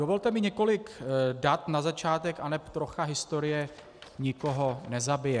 Dovolte mi několik dat na začátek aneb trocha historie nikoho nezabije.